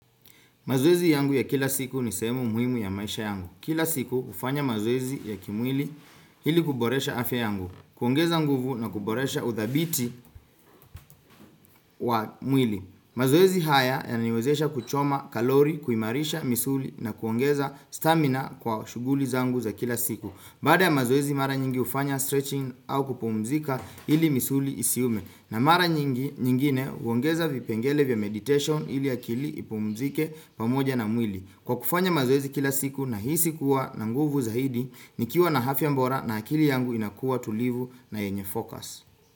Mazoezi yangu ya kila siku ni sehemu muhimu ya maisha yangu. Kila siku hufanya mazoezi ya kimwili ili kuboresha afya yangu. Kuongeza nguvu na kuboresha udhabiti wa mwili. Mazoezi haya yananiwezesha kuchoma kalori, kuimarisha, misuli na kuongeza stamina kwa shughuli zangu za kila siku. Baada ya mazoezi mara nyingi hufanya stretching au kupumzika ili misuli isiume. Na mara nyingine huongeza vipengele vya meditation ili akili ipumzike pamoja na mwili. Kwa kufanya mazoezi kila siku nahisi kuwa na nguvu zaidi nikiwa na afya bora na akili yangu inakuwa tulivu na yenye fokas.